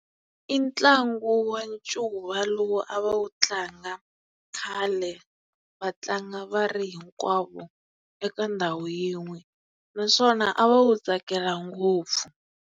I ntlangu wa ncuva lowu a va wu tlanga khale va tlanga va ri hinkwavo eka ndhawu yin'we naswona a va wu tsakela ngopfu.